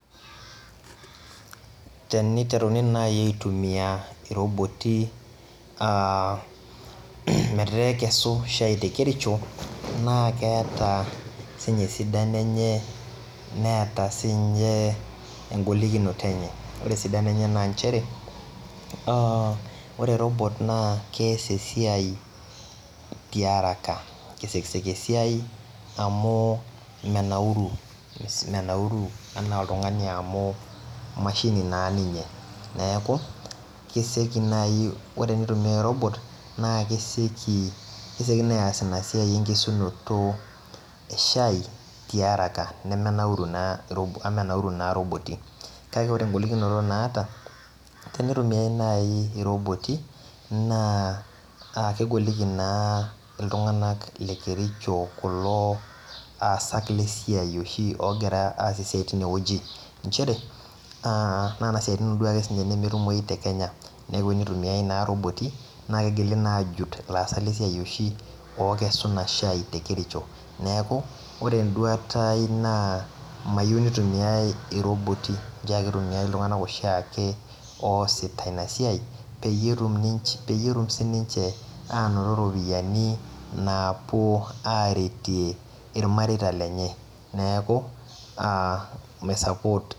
Teniteruni nai aitumia roboti metaa ekesu shai tekericho na keeta sinye esidano enye neeta sinye engolikino enye, ore esidano na nchere a ore robot na keas esiai tiaraka ,kesiekisieki esiai amu menauru menauru ana oltungani amu emashini na ninye neaku kesieki nai ,ore enkitumiai e robot na kesieki nai aas inasiai enkesunoto eshai tiaraka amu menauri na roboti kake ore engolikinoto naata tenitumiai naibroboti na kegoliki na ltunganak le kericho kulo aasak lesiai oshi ogira aas esiai tinewueji nchere nona siaitini nemekute duo ake etumoi takenya neaku inutimiai na roboti na kigili na ajut laasak lesiai oshi lokesu inashai tekericho, neakuore enduata aai mayiau nitumiai iroboti ncho ake itumiai ltunganak oshiake oosita inasiai peyieutum sininche ainoto ropiyani napuo aretie irmareita lenye neaku a mai support.